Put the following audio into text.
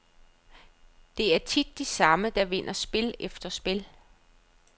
Det er tit de samme, der vinder spil efter spil.